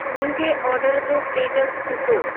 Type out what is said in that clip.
मुंहिंजे ऑर्डर जो स्टेटस ॾिसो